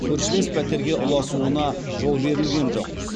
көршілес пәтерге ұласуына жол берілген жоқ